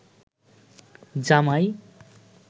জামাই